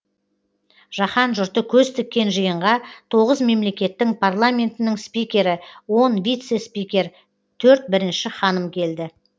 жаһан жұрты көз тіккен жиынға тоғыз мемлекеттің парламентінің спикері он вице спикер төрт бірінші ханым келді